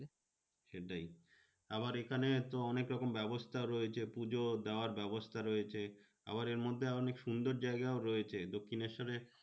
সেটাই, আবার এখানে তো অনেক রকম ব্যবস্থা রয়েছে পুজো দেওয়ার ব্যবস্থা রয়েছে। আবার এর মধ্যে অনেক সুন্দর জায়গাও রয়েছে। দক্ষিণেশ্বরে